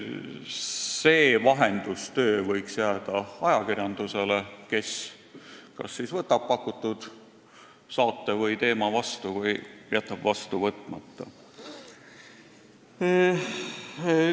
See vahendustöö võiks jääda ajakirjandusele, kes siis kas võtab pakutud saate/teema vastu või jätab vastu võtmata.